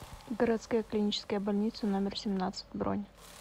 городская клиническая больница номер семнадцать бронь